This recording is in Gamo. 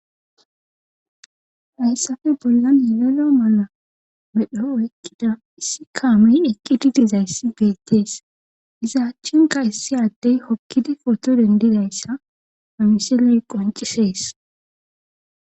Hayssafe bollan yelelo mala medho ekkida issi kaamin eqqi didizayssi beettees iza achchinka issi addey hokkidi poto dendidayssa amiseley qoncisees.